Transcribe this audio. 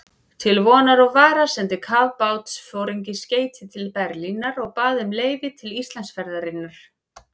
Til vonar og vara sendi kafbátsforinginn skeyti til Berlínar og bað um leyfi til Íslandsferðarinnar.